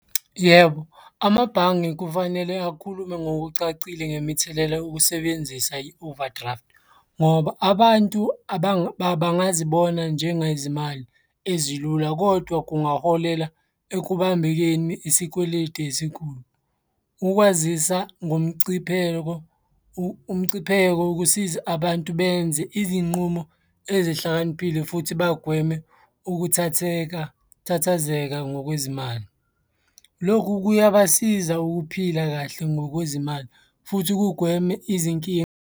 Yebo, amabhange kufanele akhulume ngokucacile ngemithelela yokusebenzisa i-overdraft, ngoba abantu bangazibona njengezimali ezilula, kodwa kungaholela ekubambekeni isikweletu esikhulu. Ukwazisa ngomcipheko umcipheko wokusiza abantu benze izinqumo ezihlakaniphile futhi bagweme ukuthatheka, ukuthathazeka ngokwezimali. Lokhu kuyabasiza ukuphila kahle ngokwezimali futhi kugweme izinkinga.